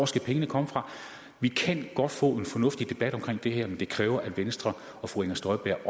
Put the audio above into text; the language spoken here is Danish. skal pengene komme fra vi kan godt få en fornuftig debat om det her men det kræver at venstre og fru inger støjberg